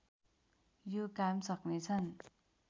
यो काम सक्नेछन्